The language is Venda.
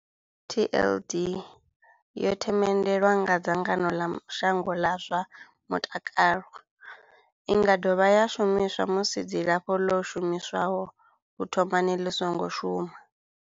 TLD yo themendelwa nga dzangano ḽa shango ḽa zwa mutakalo. I nga dovha ya shumiswa musi dzilafho ḽo shumiswaho u thomani ḽi songo shuma.